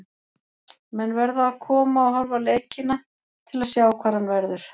Menn verða að koma og horfa á leikina til að sjá hvar hann verður.